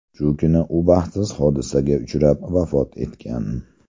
Shu kuni u baxtsiz hodisaga uchrab, vafot etgan.